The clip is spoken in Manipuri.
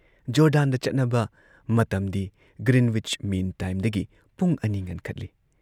ꯖꯣꯔꯗꯥꯟꯗ ꯆꯠꯅꯕ ꯃꯇꯝꯗꯤ ꯒ꯭ꯔꯤꯟꯋꯤꯆ ꯃꯤꯟ ꯇꯥꯏꯝꯗꯒꯤ ꯄꯨꯡ ꯲ ꯉꯟꯈꯠꯂꯤ꯫